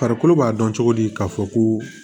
Farikolo b'a dɔn cogo di k'a fɔ ko